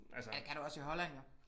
Ja det kan du også i Holland jo